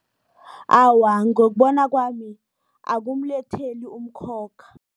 Awa, ngokubona kwami, akumletheli umkhokha.